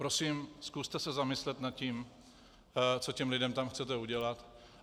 Prosím, zkuste se zamyslet nad tím, co těm lidem tam chcete udělat.